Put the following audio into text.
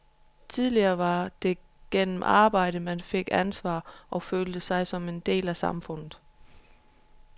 Tidligere var det gennem arbejde man fik ansvar, og følte sig som en del af samfundet.